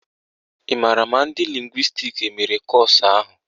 Ị maara ma ndị lịngwịstis emere kọ́ọ̀sụ̀ ahụ?